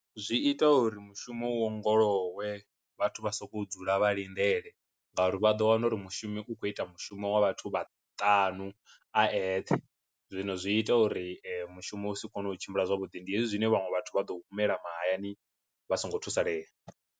Zwi ita uri mushumo u ongolowe vhathu vha sokou dzula vha lindele ngauri vha ḓo wana uri mushumi u khou ita mushumo wa vhathu vha ṱanu a eṱhe, zwino zwi ita uri mushumo u si kone u tshimbila zwavhuḓi, ndi hezwi zwine vhaṅwe vhathu vha ḓo humela mahayani vha songo thusalea.